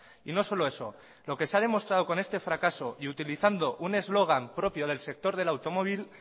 y no solo eso lo que se ha demostrado con este fracaso y utilizando un eslogan propio del sector del automóvil